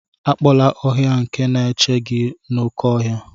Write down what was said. Akpọla ọhịa nke na-echebe gị n'oké ọhịa.